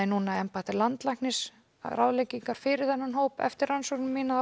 embætti landlæknis ráðleggingar fyrir þennan hóp eftir rannsóknir mínar